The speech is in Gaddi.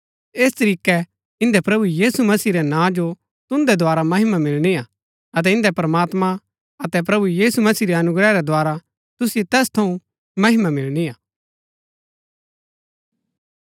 ऐस तरीकै इन्दै प्रभु यीशु मसीह रै नां जो तुन्दै द्धारा महिमा मिलणी हा अतै इन्दै प्रमात्मां अतै प्रभु यीशु मसीह रै अनुग्रह रै द्धारा तुसिओ तैस थऊँ महिमा मिलणी हा